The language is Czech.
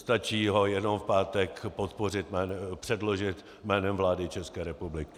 Stačí ho jenom v pátek předložit jménem vlády České republiky.